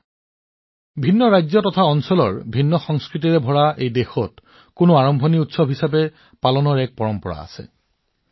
সেয়েহে বিভিন্ন ৰাজ্য আৰু অঞ্চলত আৰু আমাৰ বৈচিত্ৰতাৰ ভৰা সংস্কৃতিত উৎসৱ হিচাপে যিকোনো আৰম্ভণি উদযাপন কৰাৰ পৰম্পৰা আছে